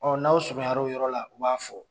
n'aw surunya na o yɔrɔ la u b'a fɔ.